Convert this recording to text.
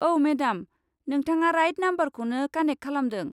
औ, मेडाम! नोंथाङा राइट नमबरखौनो कानेक खालामदों।